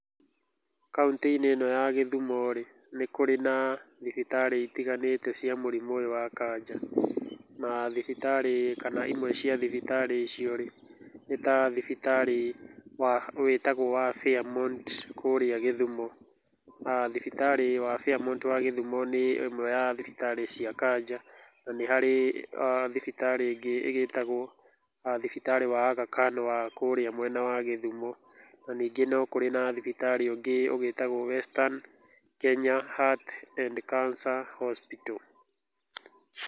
Kauntĩ-inĩ ĩno ya Gĩthumo rĩ, nĩ kũrĩ na thibitarĩ itiganĩte cia mũrimũ ũyũ wa kanja, na thibitarĩ, kana imwe cia thibitarĩ icio rĩ, nĩ ta thibitarĩ wa wĩtagwo wa Fairmount kũrĩa Gĩthumo, thibitarĩ wa Fairmount wa Gĩthumo nĩ ĩmwe ya thibitarĩ cia kanja, na nĩ harĩ thibitarĩ ĩngĩ ĩgĩtagwo thibitarĩ wa Aga Khan wa kũrĩa mwena wa Gĩthumo, na ningĩ no kũrĩ na thibitarĩ ũngĩ ũgĩtagwo Western Kenya Heart and Cancer Hospital.